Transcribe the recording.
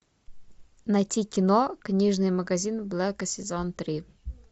найти кино книжный магазин блэка сезон три